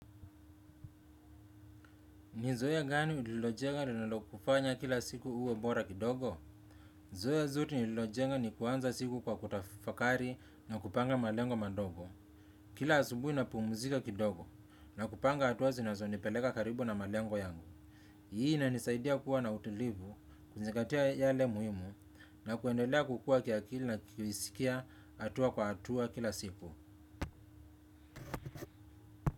Ni zora gani ulilojenga linalo kufanya kila siku uwe bora kidogo? Zoea zuri nililojenga ni kuanza siku kwa kutafakari na kupanga malengo madogo. Kila asubui napumuzika kidogo na kupanga hatua zinazonipeleka karibu na malengo yangu. Hii inanisaidia kuwa na utilivu, kuzingatia yale muhimu na kuendelea kukua kiakili na kuisikia hatua kwa hatua kila siku.